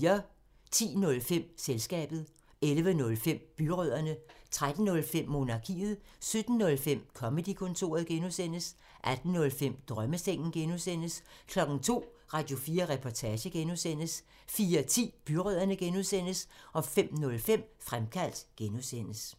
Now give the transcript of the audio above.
10:05: Selskabet 11:05: Byrødderne 13:05: Monarkiet 17:05: Comedy-kontoret (G) 18:05: Drømmesengen (G) 02:00: Radio4 Reportage (G) 04:10: Byrødderne (G) 05:05: Fremkaldt (G)